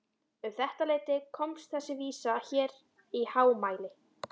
Um þetta leyti komst þessi vísa hér í hámæli